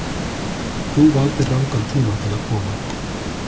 Þú valdir rangan tíma til að koma.